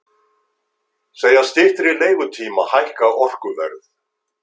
Segja styttri leigutíma hækka orkuverð